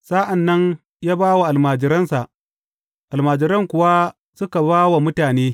Sa’an nan ya ba wa almajiransa, almajiran kuwa suka ba wa mutane.